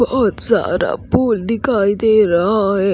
बहुत सारा फूल दिखाई दे रहा है।